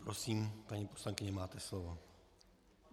Prosím, paní poslankyně, máte slovo.